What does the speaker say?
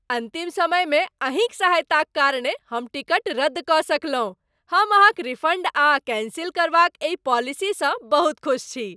अन्तिम समयमे अहींक सहायताक कारणे हम टिकट रद्द कऽ सकलहुँ, हम अहाँक रिफन्ड आ कैन्सिल करबाक एहि पॉलिसीसँ बहुत खुस छी।